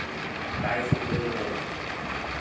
काय शुल्क घेतो?